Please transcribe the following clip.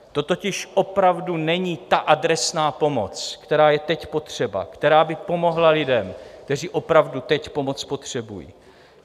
To totiž opravdu není ta adresná pomoc, která je teď potřeba, která by pomohla lidem, kteří opravdu teď pomoc potřebují.